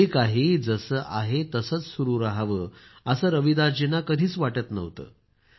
जे काही जसं आहे तसंच सुरू रहावं असं रविदासजींना कधीच वाटत नव्हतं